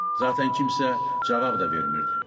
Zatən kimsə cavab da vermirdi.